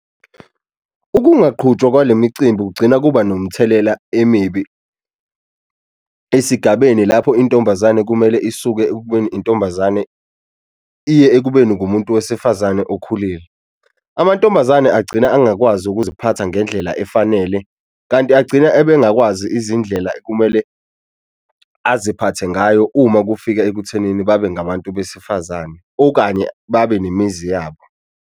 Ukungaqhutshwa kwale micimbi kugcina kuba nomthelela emibi esigabeni lapho intombazane kumele isuke ekubeni intombazane iye ekubeni ngumuntu wesifazane okhulile. Amantombazane agcina angakwazi ukuziphatha ngendlela efanele kanti agcina ebe engakwazi izindlela kumele aziphathe ngayo uma kufika ekuthenini babe ngabantu besifazane okanye babe nemizi yabo.